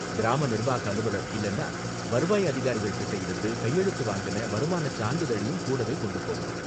கிராம நிர்வாக அலுவலர் இல்லன்னா வருவாய் அதிகாரிகள் கிட்ட இருந்து கையெழுத்து வாங்குன வருமானச் சான்றிதழையும் கூடவே கொண்டு போகணும்.